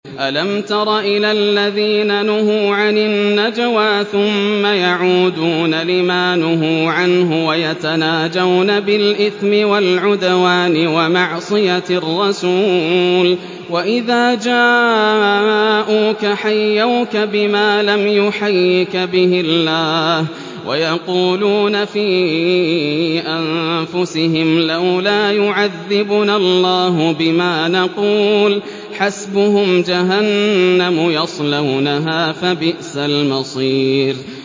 أَلَمْ تَرَ إِلَى الَّذِينَ نُهُوا عَنِ النَّجْوَىٰ ثُمَّ يَعُودُونَ لِمَا نُهُوا عَنْهُ وَيَتَنَاجَوْنَ بِالْإِثْمِ وَالْعُدْوَانِ وَمَعْصِيَتِ الرَّسُولِ وَإِذَا جَاءُوكَ حَيَّوْكَ بِمَا لَمْ يُحَيِّكَ بِهِ اللَّهُ وَيَقُولُونَ فِي أَنفُسِهِمْ لَوْلَا يُعَذِّبُنَا اللَّهُ بِمَا نَقُولُ ۚ حَسْبُهُمْ جَهَنَّمُ يَصْلَوْنَهَا ۖ فَبِئْسَ الْمَصِيرُ